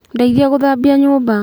Ndeithia gũthambia nyũmba.